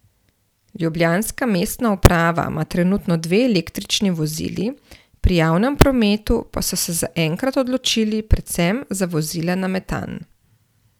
Ljubljanska mestna uprava ima trenutno dve električni vozili, pri javnem prometu pa so se zaenkrat odločili predvsem za vozila na metan.